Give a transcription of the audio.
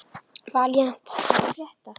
Valíant, hvað er að frétta?